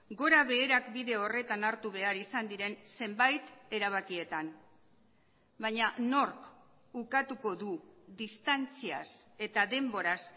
gorabeherak bide horretan hartu behar izan diren zenbait erabakietan baina nork ukatuko du distantziaz eta denboraz